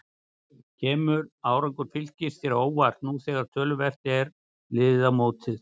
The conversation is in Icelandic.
Kemur árangur Fylkis þér á óvart nú þegar töluvert er liðið á mótið?